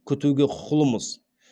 күтуге құқылымыз